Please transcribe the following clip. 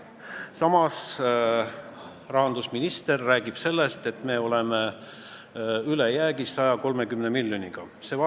Samas, rahandusminister räägib, et me oleme 130 miljoniga ülejäägis.